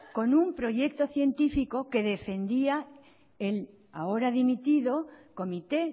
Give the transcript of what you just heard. con un proyecto científico que defendía el ahora dimitido comité